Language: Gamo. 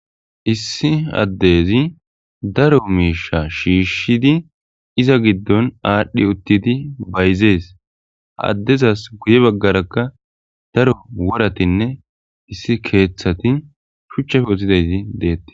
issi addezi daro miisha shiishshidi iza giddon aadhdhi uttidi bayzees haddezas guye baggarakka daro woratinne issi keeththati shuchchafe uthidayti deetti